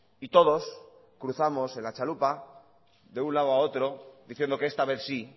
y todos cruzamos en la chalupa de un lado a otro diciendo que esta vez sí